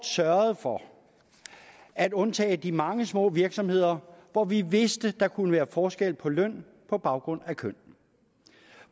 sørge for at undtage de mange små virksomheder hvor vi vidste der kunne være forskel på løn på baggrund af køn